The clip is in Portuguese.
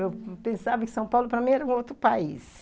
Eu pensava que São Paulo para mim era um outro país.